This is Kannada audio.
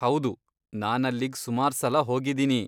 ಹೌದು, ನಾನಲ್ಲಿಗ್ ಸುಮಾರ್ಸಲ ಹೋಗಿದೀನಿ.